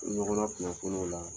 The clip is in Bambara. ɲɔgɔn lakunnafoni o la.